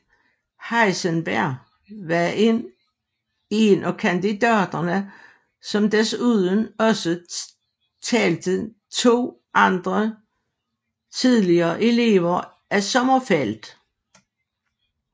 Heisenberg var en af kandidaterne som desuden også talte to andre tidligere elever af Sommerfeld